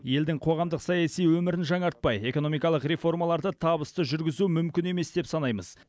елдің қоғамдық саяси өмірін жаңартпай экономикалық реформаларды табысты жүргізу мүмкін емес деп санаймыз